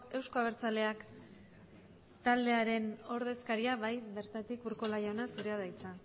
euzko abertzaleak taldearen ordezkaria bai bertatik urkola jauna zurea da hitza